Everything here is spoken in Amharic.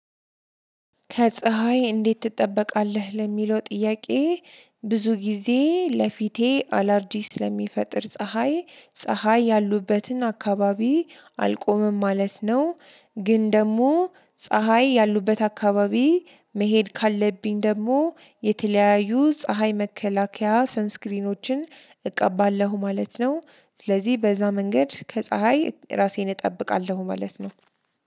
ከፀሀይ እንዴት ትጠበቃለህ ለሚለው ጥያቄ? ብዙ ጊዜ ለፊቴ አላርጂ ስለሚፈጥር ፀሀይ ፀሀይ ያሉበትን አካባቢ አልቆምም ማለት ነው። ግን ደግሞ ፀሀይ ያሉበት አካባቢ መሄድ ካለብኝ ደግሞ የተለያዩ ፀሀይ መከላከያ ሰንስክሪኖችን እቀባለሁ ማለት ነው። ስለዚህ በዛ መንገድ ከፀሀይ ራሴን እጠብቃለሁ ማለት ነው።